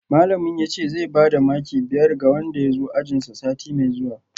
Malamin yace zai bada maki biyar ga wanda ya zo ajinsa sati mai zuwa